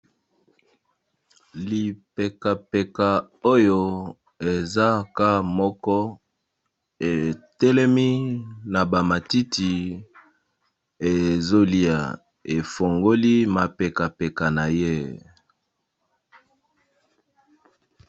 Lipeka peka oyo eza ka moko etelemi na ba matiti ezolia efongoli mapeka peka na ye.